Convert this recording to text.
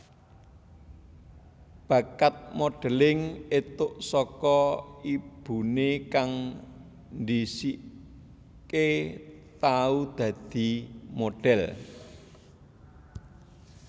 Bakat modelling entuk saka ibune kang dhisike tau dadi modhel